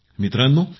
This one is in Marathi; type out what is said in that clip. मित्रांनो